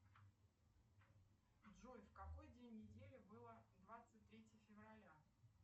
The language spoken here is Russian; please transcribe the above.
джой в какой день недели было двадцать третье февраля